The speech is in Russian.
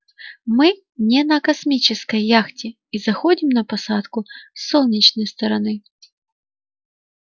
мы не на космической яхте и заходим на посадку с солнечной стороны